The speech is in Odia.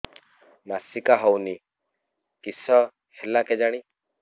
ମାସିକା ହଉନି କିଶ ହେଲା କେଜାଣି